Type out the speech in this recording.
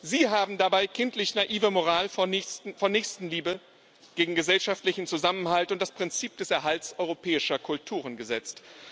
Sie haben dabei kindlich naive Moral von Nächstenliebe gegen gesellschaftlichen Zusammenhalt und das Prinzip des Erhalts europäischer Kulturen gesetzt.